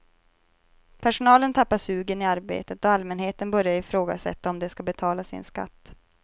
Personalen tappar sugen i arbetet och allmänheten börjar ifrågasätta om de ska betala sin skatt.